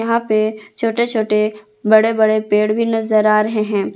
यहां पे छोटे छोटे बड़े बड़े पेड़ भी नजर आ रहे हैं।